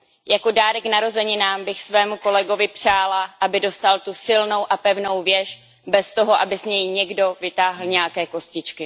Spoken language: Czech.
Jako dárek k narozeninám bych svému kolegovi přála, aby dostal tu silnou a pevnou věž bez toho, aby z ní někdo vytáhl nějaké kostičky.